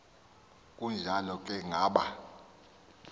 kunjalo ke ngaba